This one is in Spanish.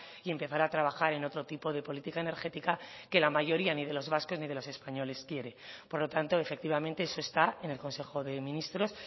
y empezar a trabajar en otro tipo de política energética que la mayoría ni de los vascos ni de los españoles quiere por lo tanto efectivamente eso está en el consejo de ministros